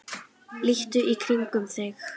líttu í kringum þig